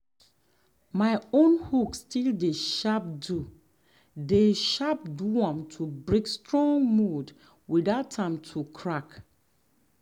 my own hoe still dey sharp do dey sharp do am to break strong mud without am to crack.